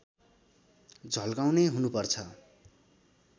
झल्काउने हुनुपर्छ